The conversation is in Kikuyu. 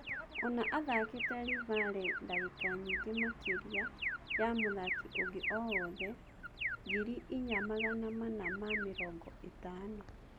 Ona athakĩte Livale ndagika nyingĩ makĩria ya mũthaki ũngĩ o-wothe ( ngiri inya magana mana ma-mĩrongo ĩtano).